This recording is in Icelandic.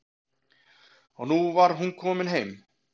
Og nú var hún komin heim.